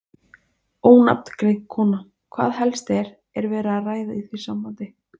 Ónafngreind kona: Hvað helst er, er verið að ræða í því sambandi?